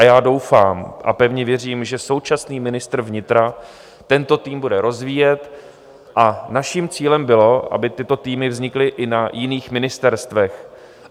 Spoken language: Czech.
A já doufám a pevně věřím, že současný ministr vnitra tento tým bude rozvíjet a naším cílem bylo, aby tyto týmy vznikly i na jiných ministerstvech.